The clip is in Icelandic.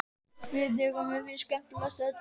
Vitiði hvað mér finnst skemmtilegast af öllu?